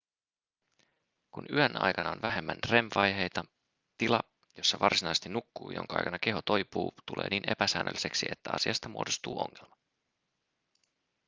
kun yön aikana on vähemmän rem-vaiheita tila jossa varsinaisesti nukkuu ja jonka aikana keho toipuu tulee niin epäsäännölliseksi että asiasta muodostuu ongelma